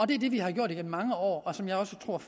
det er det vi har gjort igennem mange år og som jeg også tror